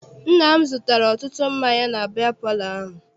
Nna m zụtara ọtụtụ mmanya na biya palọ ahụ.